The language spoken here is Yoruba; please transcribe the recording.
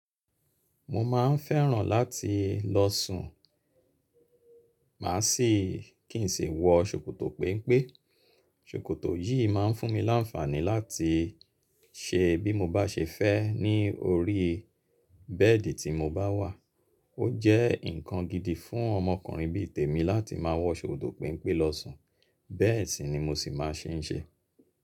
Mo ma n fẹ́ran láti lọ sùn, mà si kín n si wọ ṣòkòtò péńpé. Ṣòkòtò yi má n fún mi láfàní láti ṣe bí mo bá ṣe fẹ́ ní orí bẹ́ẹ̀dì tí mo bá wà. O jẹ́ nkan gidi fún ọmọkùnrin bí i tèmi láti má wọ ṣòkòtò pẹ́ńpé lọ sùn, bẹẹ sì ni mo sì ma n ṣe.